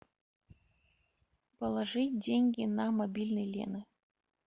положи деньги на мобильный лены